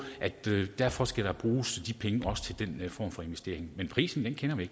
derfor skal der også bruges penge til den form for investering men prisen kender vi